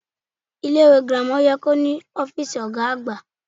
Ilé ìwé girama ye kó ní ófíìsì ògá àgbà